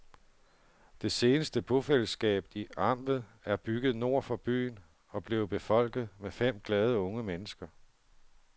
Det seneste bofællesskab i amtet er bygget nord for byen og er blevet befolket med fem glade unge mennesker.